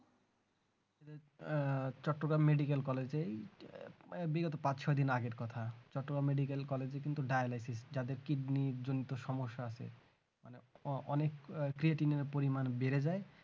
আহ Chittagong medical college এ বিগত পাঁচ ছয় দিন আগের কথা চট্টগ্রাম medical college কিন্তু dialysis যাদের kidney জনিত সমস্যা আছে অনেক creatine পরিমাণ বেড়ে যায়